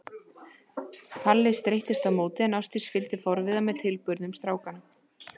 Palli streittist á móti en Ásdís fylgdist forviða með tilburðum strákanna.